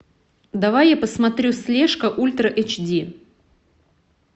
давай я посмотрю слежка ультра эйч ди